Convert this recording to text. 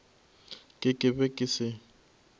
ke ke be ke se